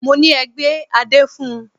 Mọ ní: Ẹ gbé adé fun!